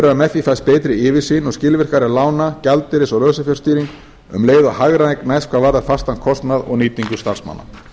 að með því fæst betri yfirsýn og skilvirkari lána gjaldeyris og lausafjárstýring um leið og hagræðing næst hvað varðar fastan kostnað og nýtingu starfsmanna